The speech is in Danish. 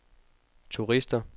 turister